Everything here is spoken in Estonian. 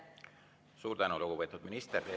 Suur tänu, lugupeetud minister!